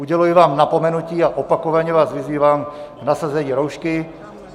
Uděluji vám napomenutí a opakovaně vás vyzývám k nasazení roušky.